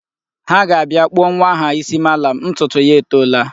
Ha ga-abịa kpụọ nwa ha isi malam, ntutu ya etoola.